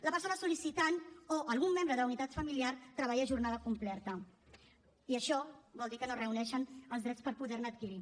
la persona sollicitant o algun membre de la unitat familiar treballa a jornada completa i això vol dir que no reuneixen els drets per poder ne adquirir